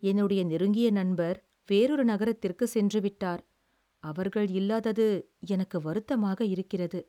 என்னுடைய நெருங்கிய நண்பர் வேறொரு நகரத்திற்குச் சென்று விட்டார், அவர்கள் இல்லாதது எனக்கு வருத்தமாக இருக்கிறது.